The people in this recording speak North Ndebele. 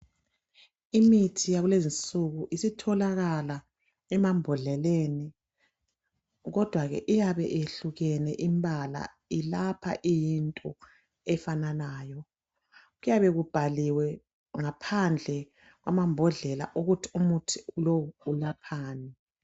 Imithi yakulezi insuku isitholakala emambodleleni kodwa ke iyabe yehlukene imbala ilapha iyinto efananayo ,kuyabe kubhaliwe ngaphandle kwamambodlela ukuthi umuthi lowu ulaphani.